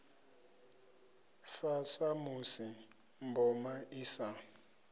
fa samusi mboma i sa